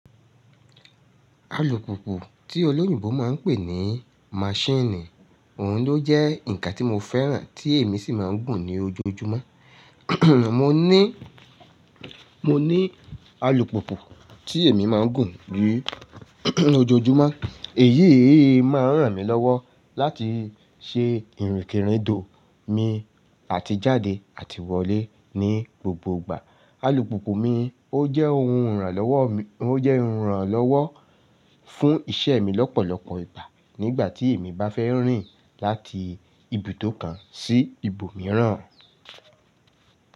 Alùpùpù tí olóyìnbo máa ń pè ní mashini, òhun ló jẹ́ ǹkan tí mo fẹ́ràn tí èmi sì máa ń gùn ní ojoojúmọ́. Mo ní, mo ní alùpùpù tí èmi máa ń gùn ní ojoojúmọ́. Èyí máa ń ràn mí lọ́wọ́ láti ṣe ìrìnkèrindò mi àti jáde àti wọlé ní gbogbo ìgbà. Alùpùpù mi ó jẹ́ ohun ìrànlọ́wọ́ mi, ó jẹ́ ìrànlọ́wọ́ fún iṣẹ́ mi lọ́pọ̀lọpọ̀ ìgbà nígbà tí èmi bá fẹ́ rìn láti ibùdó kan sí ibòmíràn.